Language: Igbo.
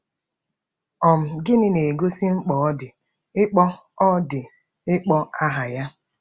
um Gịnị na-egosi mkpa ọ dị ịkpọ ọ dị ịkpọ aha ya?